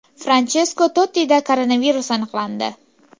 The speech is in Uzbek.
Franchesko Tottida koronavirus aniqlandi.